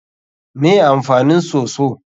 Me amfanin soso?